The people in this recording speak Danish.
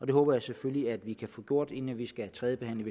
det håber jeg selvfølgelig at vi kan få gjort inden vi skal tredjebehandle